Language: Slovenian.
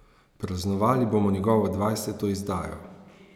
Praznovali bomo njegovo dvajseto izdajo.